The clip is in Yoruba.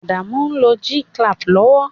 Adamu n lo G-clamp lowo